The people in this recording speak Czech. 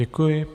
Děkuji.